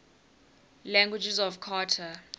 languages of qatar